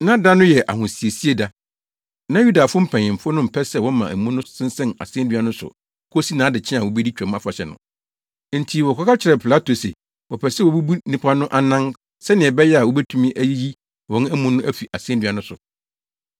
Na da no yɛ ahosiesie da, na Yudafo mpanyimfo no mpɛ sɛ wɔma amu no sensɛn asennua no so kosi nʼadekyee a wobedi Twam Afahyɛ no. Enti wɔkɔka kyerɛɛ Pilato se wɔpɛ sɛ wobubu nnipa no anan sɛnea ɛbɛyɛ a wobetumi ayiyi wɔn amu no afi asennua no so.